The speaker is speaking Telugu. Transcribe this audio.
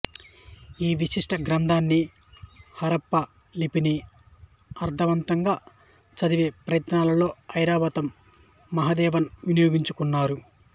ఈ విశిష్ట గ్రంధాన్ని హరప్పా లిపిని అర్థవంతంగా చదివే ప్రయత్నాల్లో ఐరావతం మహదేవన్ వినియోగించుకున్నారు